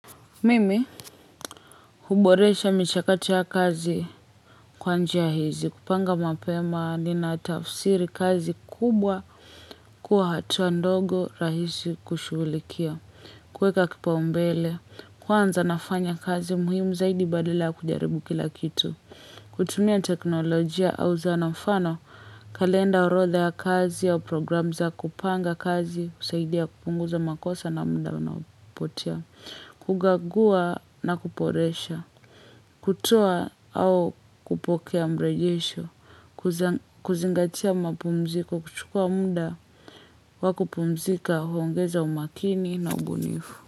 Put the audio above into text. Mimi, huboresha michakato ya kazi kwa njia hizi, kupanga mapema, ninatafsiri kazi kubwa, kuwa hatua ndogo rahisi kushughulikia. Kuweka kipaumbele, kwanza nafanya kazi muhimu zaidi badala ya kujaribu kila kitu. Kutumia teknolojia, au zana mfano, kalenda orotha ya kazi au programu za, kupanga kazi, husaidia kupunguza makosa na muda unaopotea. Kugagua na kuboresha, kutoa au kupokea mrejesho, kuzingatia mapumziko, kuchukua muda, wa kupumzika huongeza umakini na ubunifu.